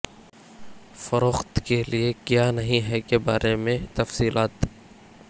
فروخت کے لئے کیا نہیں ہے کے بارے میں تفصیلات